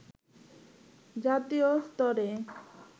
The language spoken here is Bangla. জাতীয় স্তরে